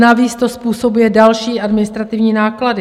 Navíc to způsobuje další administrativní náklady.